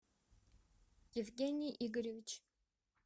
евгений игоревич